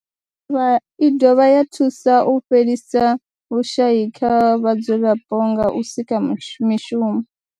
I dovha ya thusa u fhelisa vhushayi kha vhadzulapo nga u sika mishumo.